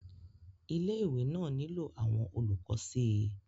ilé ìwé náà nílò àwọn olùkọ́ sí i